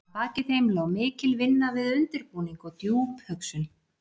Að baki þeim lá mikil vinna við undirbúning og djúp hugsun.